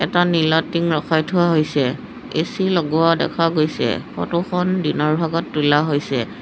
এটা নীলা টিং ৰখাই থোৱা হৈছে এ_চি লগোৱা দেখা গৈছে ফটোখন দিনৰ ভাগত তোলা হৈছে।